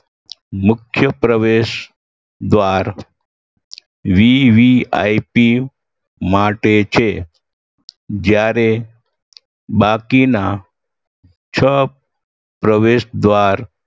મુખ્ય પ્રવેશદ્વાર VVIP માટે છે જયારે બાકીના છ પ્રવેશદ્વાર